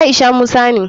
Aisha musa ne.